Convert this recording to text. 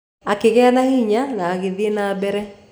Akĩgĩa na hinya na agĩthiĩ na mbere.